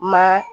Ma